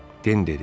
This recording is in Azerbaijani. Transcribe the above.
Den dedi: